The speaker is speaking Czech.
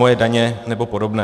Moje daně nebo podobné.